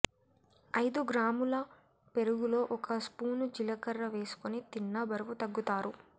ఐదు గ్రాముల పెరుగులో ఒక స్పూను జీలకర్ర వేసుకుని తిన్నా బరువు తగ్గుతారు